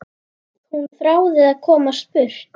Hún þráði að komast burt.